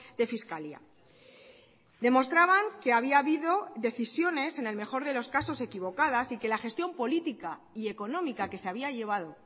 de fiscalía demostraban que había habido decisiones en el mejor de los casos equivocadas y que la gestión política y económica que se había llevado